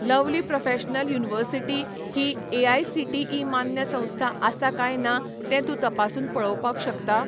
Lovely Professional University ही AICTE मान्य संस्था आसा काय ना तें तूं तपासून पळोवपाक शकता?